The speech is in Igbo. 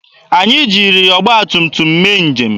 Anyị jiri ọgba tum tum mee njem.